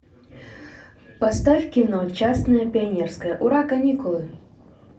поставь кино частное пионерское ура каникулы